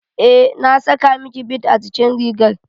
Eh, na saka miki bid a jikin rigar